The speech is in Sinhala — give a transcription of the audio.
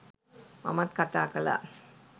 මමත් කතා කළා.